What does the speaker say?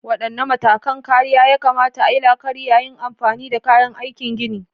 Wadanne matakan kariya ya kamata a yi la'akari yayin amfani da kayan aikin gini?